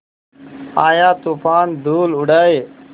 आया तूफ़ान धूल उड़ाए